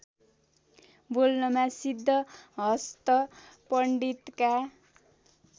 बोल्नमा सिद्धहस्त पण्डितका